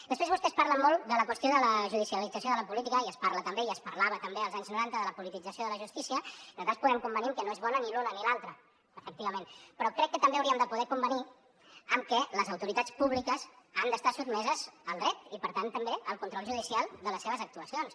després vostès parlen molt de la qüestió de la judicialització de la política i es parla també i es parlava també als anys noranta de la politització de la justícia en tot cas podem convenir que no és bona ni l’altra efectivament però crec que també hauríem de poder convenir en que les autoritats públiques han d’estar sotmeses al dret i per tant també al control judicial de les seves actuacions